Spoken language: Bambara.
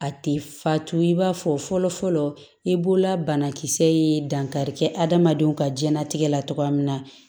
A tɛ fatu i b'a fɔ fɔlɔ fɔlɔ i bolola banakisɛ ye dankari kɛ adamadenw ka jɛnatigɛ la cogoya min na